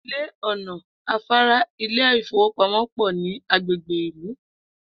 Ilé, ò̩nà, afárá, ilé ìfowópamó̩ pò̩ ní agbègbè ìlú